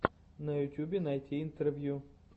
на ютьюбе найти интервью